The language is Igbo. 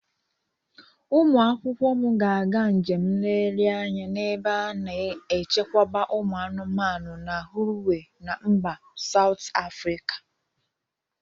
Ụmụ akwụkwọ m ga-aga njem nlegharị anya na ebe a na-echekwa ụmụ anụmanụ na Hluhuwe na mba Saut Afrịka.